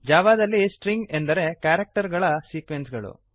ಜಾವಾದಲ್ಲಿ ಸ್ಟ್ರಿಂಗ್ ಎಂದರೆ ಕ್ಯಾರಕ್ಟರ್ ಗಳ ಸೀಕ್ವೆನ್ಸ್ ಗಳು